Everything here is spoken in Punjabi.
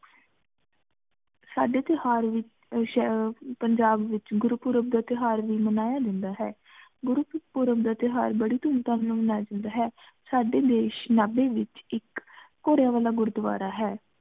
ਸਾਡੇ ਤਿਓਹਾਰ ਪੰਜਾਬ ਵਿਚ ਗੁਰੂ ਪੂਰਬ ਦਾ ਤਿਓਹਾਰ ਵੀ ਮਨਾਇਆ ਜਾਂਦਾ ਹੈ, ਗੁਰੂ ਪੂਰਬ ਦਾ ਤਿਓਹਾਰ ਬੜੀ ਧੂਮ ਧਾਮ ਨਾਲ ਮਨਾਇਆ ਜਾਂਦਾ ਹੈ ਸਾਡੇ ਦੇਸ਼ ਵਿਚ ਇਕ ਘੋੜੇਆਂ ਵਾਲਾ ਗੁਰਦਵਾਰਾ ਹੈ